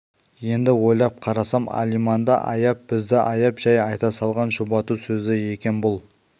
енді ойлап қарасам алиманды аяп бізді аяп жай айта салған жұбату сөзі екен бұл